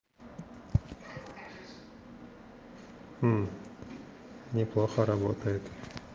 мм неплохо работает